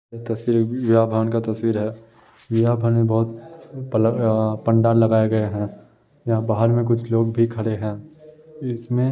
ये भान हैं यहा भने बहुत पंडाल लगाए गए हैं | यहाँ बाहर कुछ लोग भी खड़े हैं | इसमें --